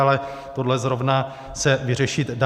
Ale tohle zrovna se vyřešit dá.